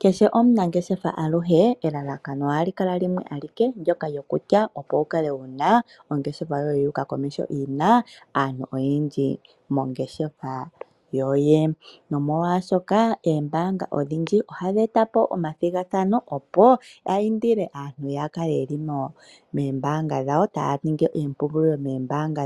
Kehe omunangeshefa aluhe elalakano ohali kala limwe alike ndoka lyokutya opo wu kale wuna ongeshefa yoye yu uka komeho yina aantu oyendji, nomolwaashoka ombaanga odhindji ohadhi e ta po omathigathano, opo ya andile aantu ya kale yeli moombaanga dhawo taya ningi oompungulilo